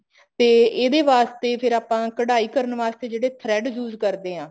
ਤੇ ਇਹਦੇ ਵਾਸਤੇ ਫ਼ੇਰ ਆਪਾਂ ਕਢਾਈ ਕਰਨ ਵਾਸਤੇ ਜਿਹੜੇ thread use ਕਰਦੇ ਹਾਂ